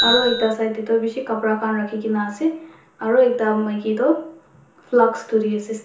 Aro ekta side dae tuh beshi kapra khan rakhikena ase aro ekta maiki to flask dhuri ase--